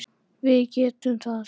Við getum það.